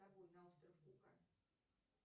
с собой на остров кука